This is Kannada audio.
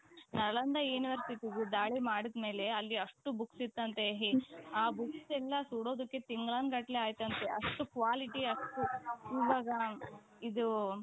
ನಳಂದಾ universityದು ದಾಳಿ ಮಾಡಿದ ಮೇಲೆ ಅಲ್ಲಿ ಅಷ್ಟು books ಇತ್ತಂತೆ. ಆ books ಎಲ್ಲಾ ಸುಡೋದಕ್ಕೆ ತಿಂಗಳಾನುಗಟ್ಟಲೆ ಆಯ್ತಂತೆ ಅಷ್ಟು quality ಅಷ್ಟು ಇದು.